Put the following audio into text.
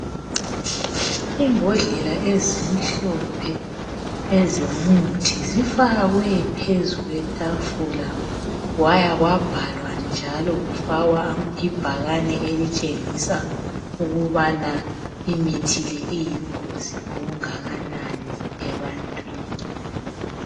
Imbodlela ezimhlophe zomuthi zifakwe phezu kwetafula kwaya kwabhalwa njalo kufakwa ibhakane elitshengisa ukubana imithi le iyingozi okungakanani ebantwini.